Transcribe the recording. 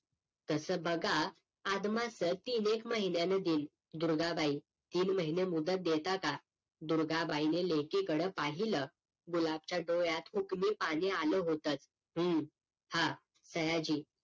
तस बघा आदमाचं तीन एक महिन्यान देईल दुर्गा बाई तीन महिने मुदत देता का दुर्गा बाईने लेकी कडे पाहिलं गुलाबच्या डोळ्यात पाणी आल होतच हं हा सयाजी